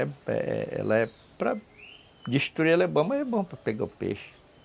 Ela é para... Destruir ela é bom, mas é bom para pegar o peixe.